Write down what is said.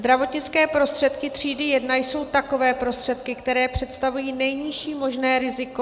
Zdravotnické prostředky třídy jedna jsou takové prostředky, které představují nejnižší možné riziko.